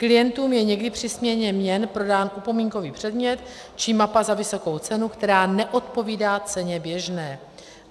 Klientům je někdy při směně měn prodán upomínkový předmět či mapa za vysokou cenu, která neodpovídá ceně běžné.